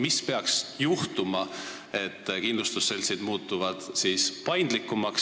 Mis peaks juhtuma, et kindlustusseltsid muutuksid paindlikumaks?